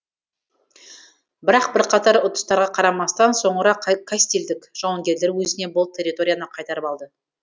бірақ бірқатар ұтыстарға қарамастан соңыра кастильдік жауынгерлер өзіне бұл территорияны қайтарып алды